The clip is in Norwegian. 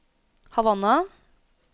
Havanna